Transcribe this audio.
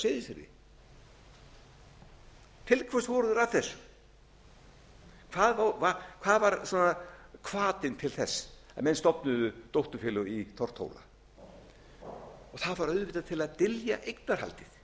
mönnunum af hverju stofnuðu þeir ekki hlutafélag á seyðisfirði til hvers voru þeir að þessu hvað var svona hvatinn til þess að menn stofnuðu dótturfélög í tortóla það var auðvitað til að dylja eignarhaldið